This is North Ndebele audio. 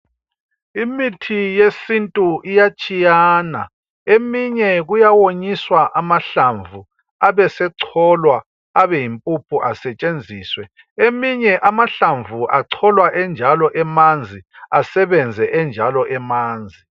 Imithi yesintu iyatshiyana. Eminye kuyawonyiswa amahlamvu, abesecholwa abe yimpuphu asetshenziswe, eminye amahlamvu acholwa enjalo emanzi, asebenze enjalo emanzi.